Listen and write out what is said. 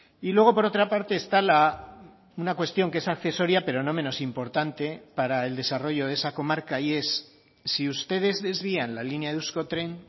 y luego por otra parte está una cuestión que es accesoria pero no menos importante para el desarrollo de esa comarca y es si ustedes desvían la línea de euskotren